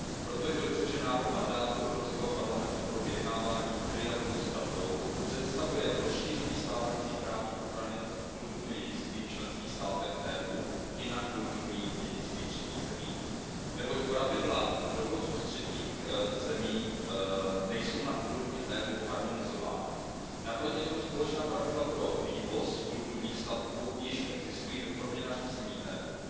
Proto je dobře, že návrh mandátu Evropského parlamentu pro vyjednávání v trialogu s Radou představuje rozšíření stávající právní ochrany kulturního dědictví v členských státech EU i na kulturní dědictví třetích zemí, neboť pravidla dovozu ze třetích zemí nejsou na úrovni EU harmonizována. Naproti tomu společná pravidla pro vývoz kulturních statků již existují ve formě nařízení EU.